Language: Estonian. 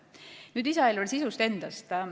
Nüüd lisaeelarve sisust endast.